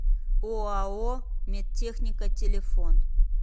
оао медтехника телефон